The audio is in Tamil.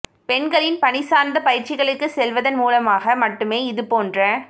பெண்களின் பணி சார்ந்த பயற்சிகளுக்குச் செல்வதன் மூலமாக மட்டுமே இது போன்ற